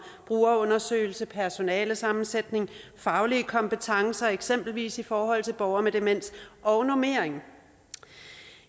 brugerundersøgelser personalesammensætning faglige kompetencer eksempelvis i forhold til borgere med demens og normering